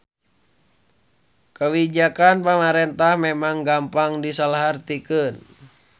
Kawijakan pamarentah memang gampang disalahartikeun